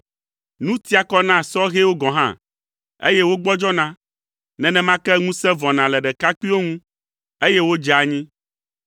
Nu tia kɔ na sɔhɛwo gɔ̃ hã, eye wogbɔdzɔna. Nenema ke ŋusẽ vɔna le ɖekakpuiwo ŋu, eye wodzea anyi,